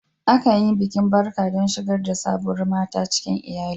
Akan yi bikin barka don shigar da sabuwar mata cikin iyalin.